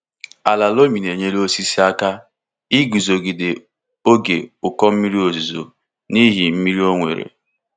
Ala loamy na-enyere osisi aka iguzogide oge ụkọ mmiri ozuzo n’ihi mmiri o nwere.